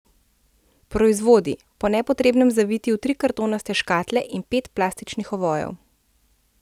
Proizvodi, po nepotrebnem zaviti v tri kartonaste škatle in pet plastičnih ovojev ...